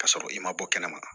K'a sɔrɔ i ma bɔ kɛnɛma